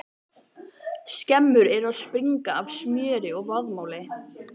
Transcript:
Skemmur eru að springa af smjöri og vaðmáli!